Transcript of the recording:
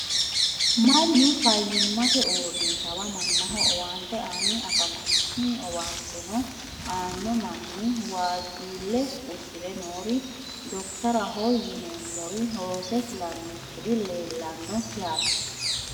mannu fayyimate uurinshshawa mannaho owaante aanni afamanno tini owaanteno aanno manni waajjuulle uddire noori dokiteraho yiineemmori rose fullankori leellanno yaate